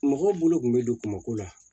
Mɔgɔw bolo kun bɛ don kumako la